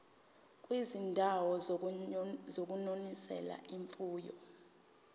kwizindawo zokunonisela imfuyo